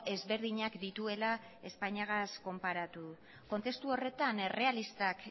ezberdinak dituela espainiagaz konparatuz kontestu horretan errealistak